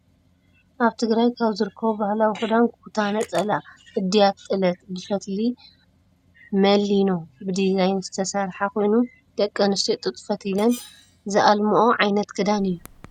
ኣብ ትግራይ ካብ ዝርከቡ ባህላዊ ክዳን ኩታ ነፀላ ኢዳት/ጥለት/ ብፈትሊ መሊኖ ብዲዛይን ዝተሰረሓ ኮይኑ፣ ደቂ ኣንስትዮ ጡጥ ፈቲለን ዝእልምኦ ዓይነት ክዳን እዩ።